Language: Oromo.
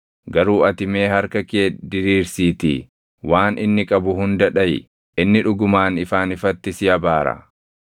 Garuu ati mee harka kee diriirsiitii waan inni qabu hunda dhaʼi; inni dhugumaan ifaan ifatti si abaara.”